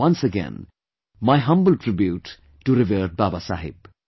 Once again my humble tribute to revered Baba Saheb